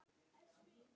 Hvað, er úrvalið þar?